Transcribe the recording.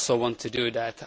I also want to do that.